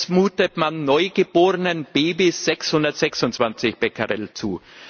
Jetzt mutet man neugeborenen Babys 626 Becquerel zu.